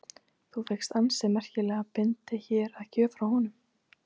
Þú fékkst ansi merkilega bindi hér að gjöf frá honum?